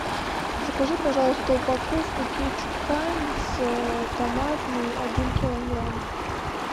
закажи пожалуйста упаковку кетчуп хайнц томатный один килограмм